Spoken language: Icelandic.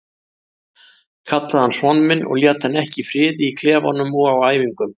Kallaði hann son minn og lét hann ekki í friði í klefanum og á æfingum.